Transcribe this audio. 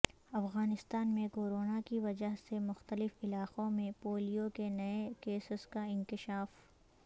افغانستان میں کورونا کی وجہ سے مختلف علاقوں میں پولیو کے نئے کیسز کا انکشاف